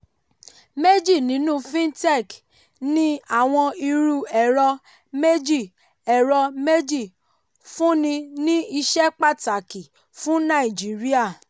méjì nínú fintech ní àwọn irú ẹ̀rọ méjì ẹ̀rọ méjì fúnni ní iṣẹ́ pàtàkì fún nàìjíríà.